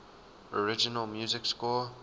original music score